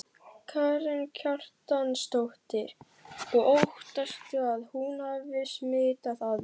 Karen Kjartansdóttir: Og óttastu að hún hafi smitað aðra?